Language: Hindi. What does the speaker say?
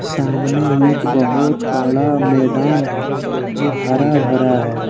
सामने एक बहुत बड़ा मैदान है जो हरा भरा है।